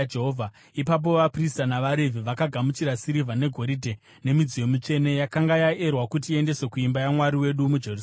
Ipapo vaprista navaRevhi vakagamuchira sirivha negoridhe nemidziyo mitsvene yakanga yaerwa kuti iendeswe kuimba yaMwari wedu muJerusarema.